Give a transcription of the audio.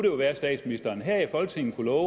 jo være at statsministeren her i folketinget kunne love